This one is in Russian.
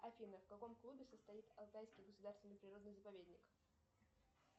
афина в каком клубе состоит алтайский государственный природный заповедник